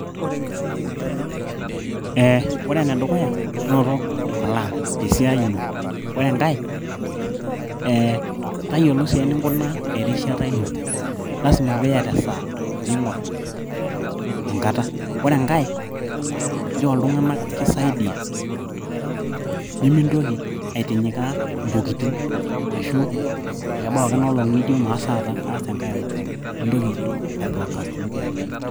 ee ore enedukuya inoto plan tesiai ino, ore enkay tayiolo sii eninkunaa erishata ino, lasima piiyata esaa piingorr enkata, ore enkay njoo iltung'anak kisaidiyia nemintoki aitinyikaa intokitin ashu kebau ake ena olong nijo maas taata kaas enkay olong, mintoki ai prostinate intokitin.